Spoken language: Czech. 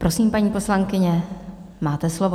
Prosím, paní poslankyně, máte slovo.